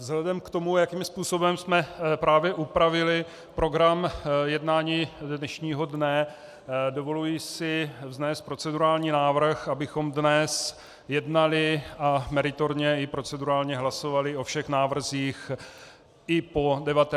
Vzhledem k tomu, jakým způsobem jsme právě upravili program jednání dnešního dne, dovoluji si vznést procedurální návrh, abychom dnes jednali a meritorně i procedurálně hlasovali o všech návrzích i po 19. i po 21. hodině.